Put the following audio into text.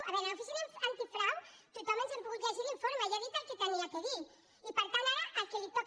a veure l’oficina antifrau tothom ens hem pogut llegir l’informe ja ha dit el que havia de dir i per tant ara a qui li toca